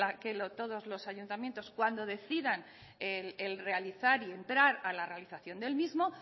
que todos los ayuntamientos cuando decidan el realizar y entrar a la realización del mismo